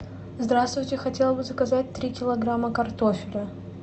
здравствуйте хотела бы заказать три килограмма картофеля